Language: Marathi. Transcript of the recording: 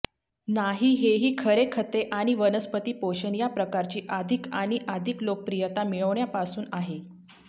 नाही हेही खरे खते आणि वनस्पती पोषण या प्रकारची अधिक आणि अधिक लोकप्रियता मिळविण्यापासून आहे